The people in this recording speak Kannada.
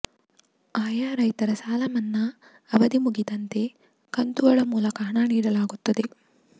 ಆಯಾ ರೈತರ ಸಾಲ ಮನ್ನಾ ಅವಧಿ ಮುಗಿದಂತೆ ಕಂತುಗಳ ಮೂಲಕ ಹಣ ನೀಡಲಾಗುತ್ತಿದೆ